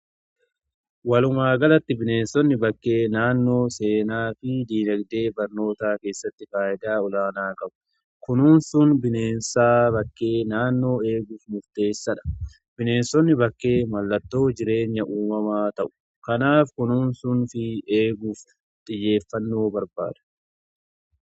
Walumaagalatti bineensonni bakkee naannoo seenaa fi diinagdee barnootaa keessatti faayidaa olaanaa qabu. Kunuunsuun bineensaa bakkee naannoo eeguuf murteessaadha. Bineensonni bakkee mallattoo jireenya uumamaa ta'u. Kanaaf kunuunsuunii fi eeguuf xiyyeeffannoo barbaada.